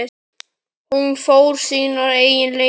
Hún fór sínar eigin leiðir.